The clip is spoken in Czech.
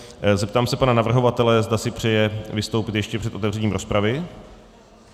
Zeptám se pana navrhovatele, zda si přeje vystoupit ještě před otevřením rozpravy.